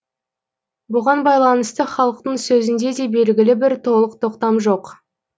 бұған байланысты халықтың сөзінде де белгілі бір толық тоқтам жоқ